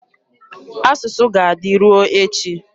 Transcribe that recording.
Asụsụ ga-adị ruo echi.